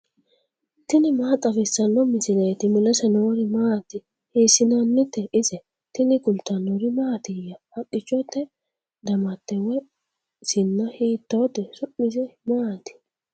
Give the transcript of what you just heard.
tini maa xawissanno misileeti ? mulese noori maati ? hiissinannite ise ? tini kultannori mattiya? Haqqichchotte damatte woyi sinna hiittotte? Su'mise maatti?